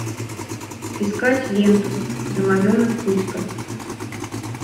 искать ленту домовенок кузька